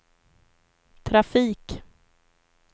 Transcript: trafik